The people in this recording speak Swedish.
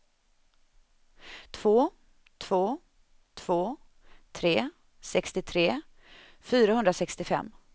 två två två tre sextiotre fyrahundrasextiofem